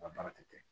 U ka baara tɛ kɛ